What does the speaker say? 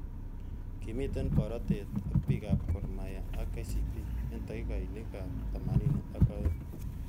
Kimitei borotet ak bik ab Gor mahia ak KCB eng takikainik.ab temanini ak aeng.